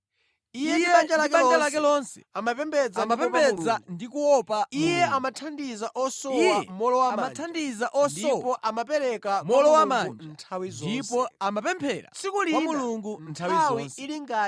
Iye ndi banja lake lonse amapembedza ndi kuopa Mulungu. Iye amathandiza osowa mowolowamanja ndipo amapemphera kwa Mulungu nthawi zonse.